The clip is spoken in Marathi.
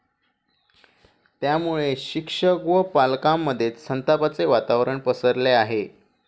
त्यामुळे शिक्षक व पालकांमध्ये संतापाचे वातावरण पसरले आहे.